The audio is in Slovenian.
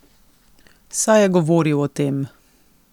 Saj je govoril o tem.